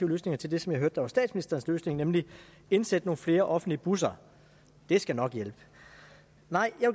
løsninger til det som jeg hørte var statsministerens løsning nemlig at indsætte nogle flere offentlige busser det skal nok hjælpe nej